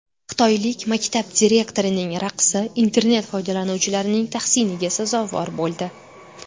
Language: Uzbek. Xitoylik maktab direktorining raqsi internet foydalanuvchilarining tahsiniga sazovor bo‘ldi .